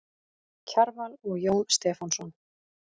Kjarval og Jón Stefánsson.